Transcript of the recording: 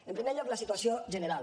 en primer lloc la situació general